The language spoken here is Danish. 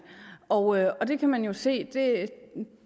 og og det kan man se